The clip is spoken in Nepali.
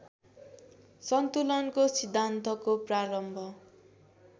सन्तुलनको सिद्धान्तको प्रारम्भ